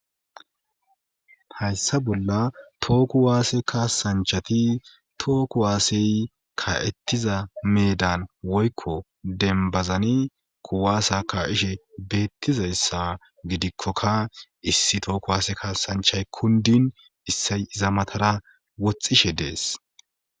hayssa bolla tooku waase kaasanchati tooku waasey ka7ettiza meedan woykko denbazani kuwaasa ka7ishe beettizayssa gidikkoka issi tooku waase kaasanchay kundin issay iza matara woxxishe dees